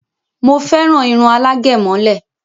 Mo féràn irun alágẹ̀mọ́lẹ̀